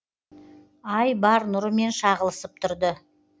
ай бар нұрымен шағылысып тұрды